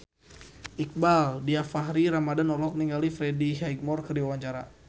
Iqbaal Dhiafakhri Ramadhan olohok ningali Freddie Highmore keur diwawancara